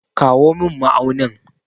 Kawo min ma'aunin.